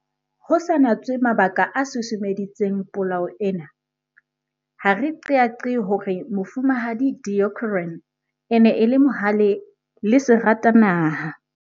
Ho sa natswe mabaka a susumeditseng polao ena, ha re qeaqee hore Mofumahadi Deokaran e ne e le mohale le seratanaha.